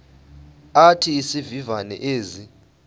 athi izivivane ezi